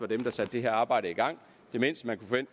dem der sagde det her arbejde i gang det mindste